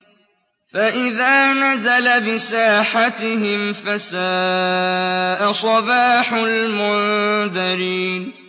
فَإِذَا نَزَلَ بِسَاحَتِهِمْ فَسَاءَ صَبَاحُ الْمُنذَرِينَ